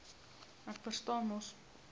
ek verstaan mos